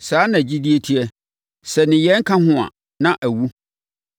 Saa ara na gyidie teɛ. Sɛ nneyɛeɛ nka ho a, na awu.